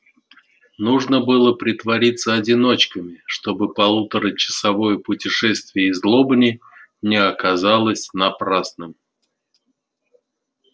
нужно было притвориться одиночками чтобы полуторачасовое путешествие из лобни не оказалось напрасным